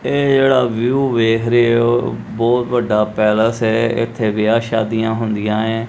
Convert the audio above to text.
ਇਹ ਜਿਹੜਾ ਵਿਊ ਵੇਖ ਰਹੇ ਹੋ ਬਹੁਤ ਵੱਡਾ ਪੈਲਸ ਹੈ ਇਥੇ ਵਿਆਹ ਸ਼ਾਦੀਆਂ ਹੁੰਦੀਆਂ ਏ।